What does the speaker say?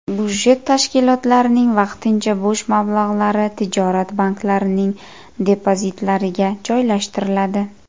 Budjet tashkilotlarining vaqtincha bo‘sh mablag‘lari tijorat banklarining depozitlariga joylashtiriladi.